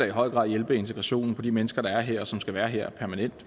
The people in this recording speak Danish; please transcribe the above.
i høj grad hjælpe integrationen for de mennesker der er her og som skal være her permanent